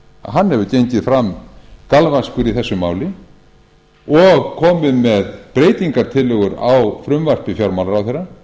hann hefur gengið fram galvaskur í þessu máli og komið með breytingartillögur á frumvarpi fjármálaráðherra